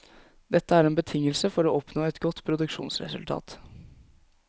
Dette er en betingelse for å oppnå et godt produksjonsresultat.